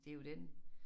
Det jo den